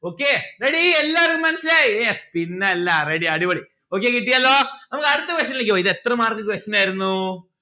okay ready എല്ലാരും മനസ്സിലായി yes പിന്നല്ല ready അടിപൊളി okay കിട്ടിയല്ലോ നമ്മുക്ക് അടുത്ത question ലേക്ക് പോകാം ഇത് എത്ര mark question ആയിരുന്നു